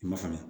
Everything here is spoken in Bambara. I ma falen